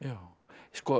sko